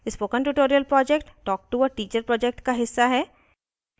spoken tutorial project talktoa teacher project का हिस्सा है